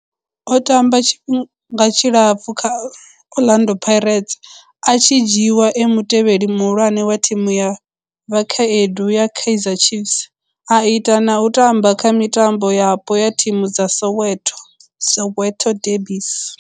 O tamba tshifhinga tshilapfhu kha Orlando Pirates, a tshi dzhiiwa e mutevheli muhulwane wa thimu ya vhakhaedu ya Kaizer Chiefs, a ita na u tamba kha mitambo yapo ya thimu dza Soweto, Soweto derbies.